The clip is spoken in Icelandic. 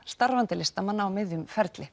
starfandi listamanna á miðjum ferli